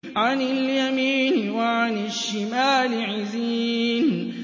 عَنِ الْيَمِينِ وَعَنِ الشِّمَالِ عِزِينَ